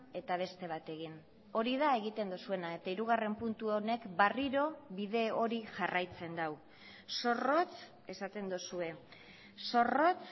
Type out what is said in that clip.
eta beste bat egin hori da egiten duzuena eta hirugarren puntu honek berriro bide hori jarraitzen du zorrotz esaten duzue zorrotz